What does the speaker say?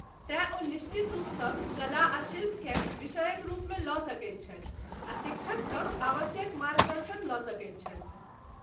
तैं ओ निश्चित रूपसँ कला आ शिल्प केँ विषयकक रूपमे लऽ सकैत छथि आ शिक्षकसँ आवश्यक मार्गदर्शन लऽ सकैत छथि।